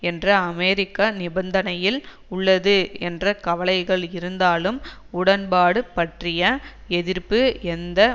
என்ற அமெரிக்க நிபந்தனையில் உள்ளது என்ற கவலைகள் இருந்தாலும் உடன்பாடு பற்றிய எதிர்ப்பு எந்த